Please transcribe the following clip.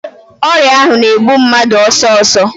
Ọrịa ahụ na-egbu mmadụ ọsọsọ.